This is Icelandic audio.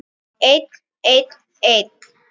Einn, einn, einn.